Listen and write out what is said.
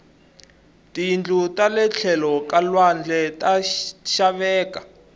tiyindlu tale tlhelo ka lwandle ta xaveka